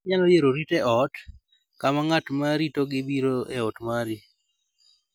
Inyalo yiero rit e ot, kama ng�at ma ritogi biro e ot mari.